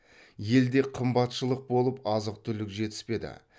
елде қымбатшылық болып азық түлік жетіспеді